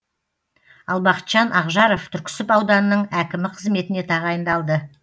ал бақытжан ақжаров түрксіб ауданының әкімі қызметіне тағайындалды